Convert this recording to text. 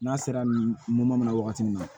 N'a sera nin ma wagati min na